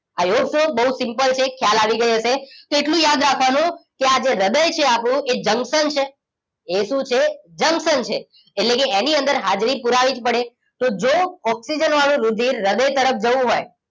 I hope so બોવ simple છે ખ્યાલ આવી ગયો હશે તો એટલું યાદ રાખવાનું કે આ જે હ્રદય છે આપણું એ જંક્શન છે એ શું છે જંક્શન છે એટલે કે એની અંદર હાજરી પુરાવીજ પડે તો જો ઓક્સિજન વાળું રુધિર હ્રદય તરફ ગયું હોય